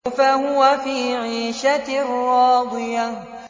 فَهُوَ فِي عِيشَةٍ رَّاضِيَةٍ